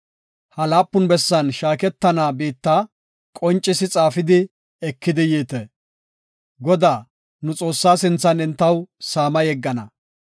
Ha laapun bessan shaaketana biitta qoncisi xaafidi ekidi yiite. Godaa, nu Xoossaa sinthan entaw saama yeggana.